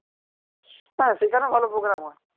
হ্যাঁ সেখানেও ভালো প্রোগ্রাম হয়